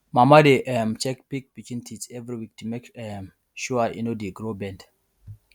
mama dey um check pig pikin teeth every week to make um sure e no dey grow bend